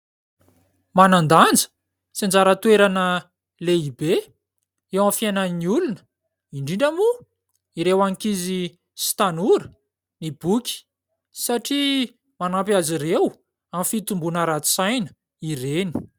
Manandanja sy anjara toerana lehibe eo aminy fiainan'ny olona, indrindra moa ireo ankizy sy tanora ny boky, satria manampy azy ireo amin'ny fitombona ara-tsaina ireny.